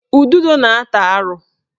Ududo na-ata arụ